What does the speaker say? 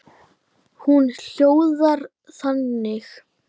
Hún hljóðar þannig: